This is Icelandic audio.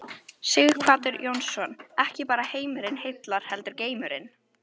Sighvatur Jónsson: Og ekki bara heimurinn heillar heldur geimurinn?